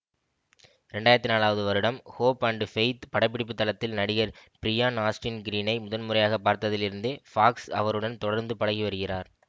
இரண்டு ஆயிரத்தி நான்காவது வருடம் ஹோப் அண்ட் ஃபெய்த் படப்பிடிப்புத் தளத்தில் நடிகர் ப்ரியான் ஆஸ்டின் க்ரீனை முதன் முறையாக பார்த்ததிலிருந்தே ஃபாக்ஸ் அவருடன் தொடர்ந்து பழகி வருகிறார்